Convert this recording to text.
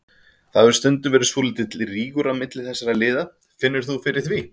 Það hefur stundum verið svolítill rígur á milli þessara liða, finnur þú fyrir því?